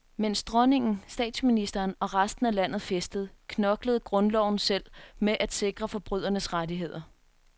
Mens dronningen, statsministeren og resten af landet festede, knoklede grundloven selv med at sikre forbrydernes rettigheder.